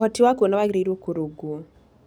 Ũhoti wa kuona wagĩrĩirũo kũrũngwo.